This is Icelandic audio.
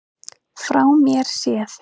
Frá mér séð.